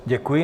Děkuji.